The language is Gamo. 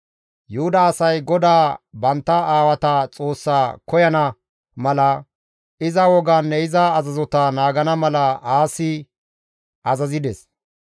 Yuhuda asay GODAA bantta aawata Xoossaa koyana mala, iza wogaanne iza azazota naagana mala Aasi azazides.